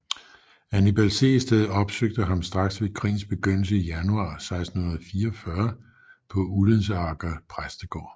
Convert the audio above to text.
Hannibal Sehested opsøgte ham straks ved krigens begyndelse i januar 1644 på Ullensaker præstegård